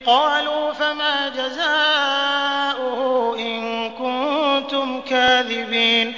قَالُوا فَمَا جَزَاؤُهُ إِن كُنتُمْ كَاذِبِينَ